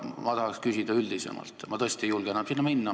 Ma tahan küsida üldisemalt, sest ma tõesti ei julge enam sinna minna.